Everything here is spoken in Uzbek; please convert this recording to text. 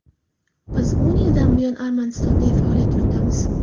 Biz o‘n yildan buyon Armanistonda faoliyat yuritamiz.